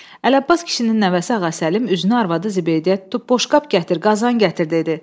Ələbbas kişinin nəvəsi Ağasəlim üzünü arvadı Zibeydəyə tutub: Boşqab gətir, qazan gətir dedi.